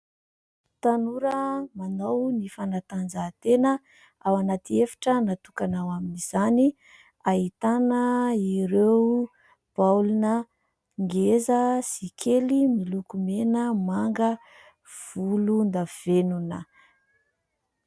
Tanora manao ny fanatanjahantena, ao anaty efitra natokana ao amin'izany, ahitana ireo baolina ngeza sy kely miloko mena, manga, volondavenona.